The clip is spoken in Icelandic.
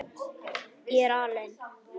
Ég er aleinn.